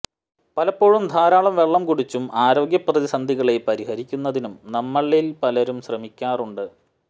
പലപ്പോഴും ധാരാളം വെള്ളം കുടിച്ചും ആരോഗ്യ പ്രതിസന്ധികളെ പരിഹരിക്കുന്നതിനും നമ്മളിൽ പലരും ശ്രമിക്കാറുണ്ട്